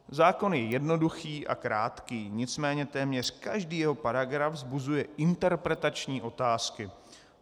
Zákon je jednoduchý a krátký, nicméně téměř každý jeho paragraf vzbuzuje interpretační otázky.